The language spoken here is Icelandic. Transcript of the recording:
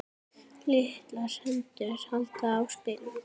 Litlar hendur halda á spilum.